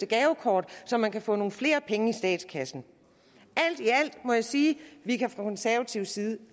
gavekort så man kan få nogle flere penge i statskassen alt i alt må jeg sige at vi fra konservativ side